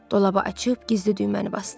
Dolaba açıb gizli düyməni basdı.